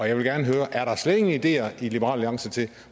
jeg vil gerne høre er der slet ingen ideer i liberal alliance til